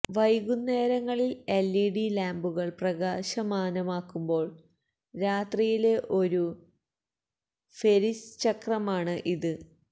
വൈകുന്നേരങ്ങളിൽ എൽഇഡി ലാമ്പുകൾ പ്രകാശമാനമാക്കുമ്പോൾ രാത്രിയിലെ ഒരു ഫെരിസ് ചക്രമാണ് ഇത്